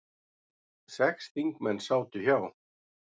Sex þingmenn sátu hjá